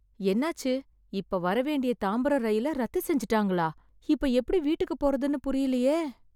என்னாச்சு, இப்ப வர வேண்டிய தாம்பரம் ரயில ரத்து செஞ்சுட்டாங்களா? இப்ப எப்படி வீட்டுக்குப் போறதுன்னு புரியலையே